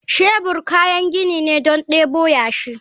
Shebur kayan gini ne don debo yashi.